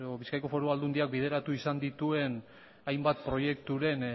bizkaiko foru aldundiak bideratu izan dituen hainbat proiekturen